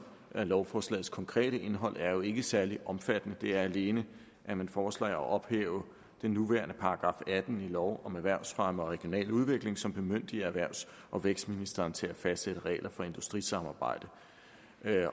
er lovforslagets konkrete indhold er jo ikke særlig omfattende det er alene at man foreslår at ophæve den nuværende § atten i lov om erhvervsfremme og regional udvikling som bemyndiger erhvervs og vækstministeren til at fastsætte regler for industrisamarbejde